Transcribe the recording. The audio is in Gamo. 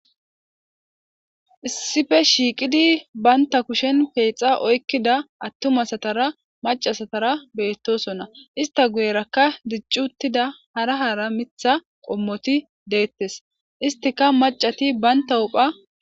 Issippe shiiqidi bantta kushshen peexa oykkida attuma asatara macca asatara beetosona. Estta guyeerakka dicci uththida hara hara miththa qommoti deetees. Esttikka maccati banttaw qa..